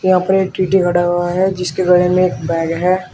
टी_टी खड़ा हुआ है जिसके गले में एक बैग है।